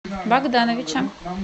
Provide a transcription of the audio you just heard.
богдановича